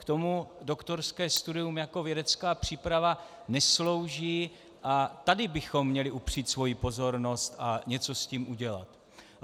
K tomu doktorské studium jako vědecká příprava neslouží a tady bychom měli upřít svoji pozornost a něco s tím udělat.